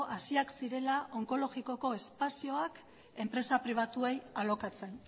hasiak zirela onkologikoko espazioak enpresa pribatuei alokatzen